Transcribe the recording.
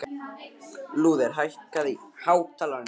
Lúther, hækkaðu í hátalaranum.